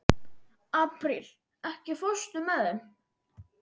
Apríl, ekki fórstu með þeim?